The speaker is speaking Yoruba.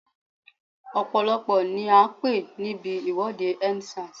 Ọ̀pọ̀lọ́pọ̀ ni a pé níbi ìwọ́de End Sars.